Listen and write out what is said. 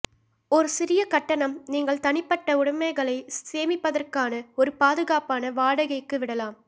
ஒரு சிறிய கட்டணம் நீங்கள் தனிப்பட்ட உடமைகளை சேமிப்பதற்கான ஒரு பாதுகாப்பான வாடகைக்கு விடலாம்